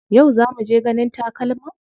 Yau za muje ganin takalman?